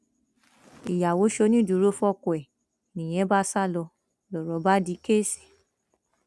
ìyàwó ṣonídùúró fọkọ ẹ nìyẹn bá sá lọ lọrọ bá di kẹẹsì